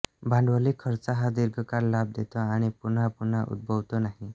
भांडवली खर्च हा दीर्घकाळ लाभ देतो आणि पुनःपुनः उद्भवत नाही